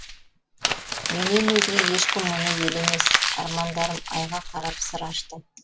менен өзге ешкім мұны елемес армандарым айға қарап сыр ашты